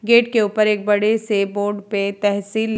gate के उपर एक बड़े से बोर्ड पे तहसील --